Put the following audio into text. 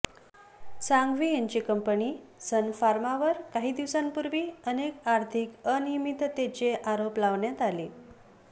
सांघवी यांची company Sun फार्मावर काही दिवसांपूर्वी अनेक आर्थिक अनियमिततेचे आरोप लावण्यात आले